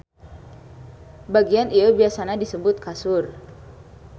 Bagian ieu biasana disebut kasur.